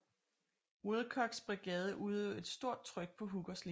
Wilcoxs brigade udøvede et stort tryk på Hookers linje